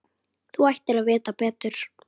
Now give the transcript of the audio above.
Þú ættir að vita betur.